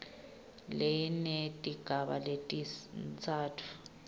linetigaba letintsatfu a